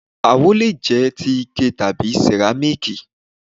Àwo le jẹ́ ti Ike tàbí sẹ̀rámíkì.